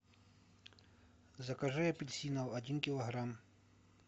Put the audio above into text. закажи апельсинов один килограмм